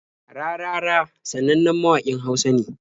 Rarara sanannen mawaƙin Hausa ne.